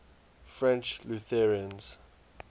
french lutherans